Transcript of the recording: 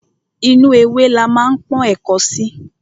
Inú ewé la ma ń pọ́n ẹ̀ko sí.